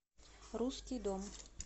русский дом